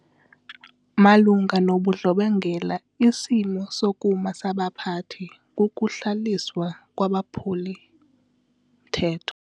Malunga nobundlobongela isimo sokuma sabaphathi kukuhlawuliswa kwabaphuli-mthetho.